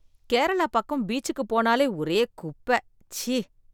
கேரளா பக்கம் பீச்சுக்கு போனாலே ஒரே குப்ப, சீ.